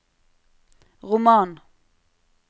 roman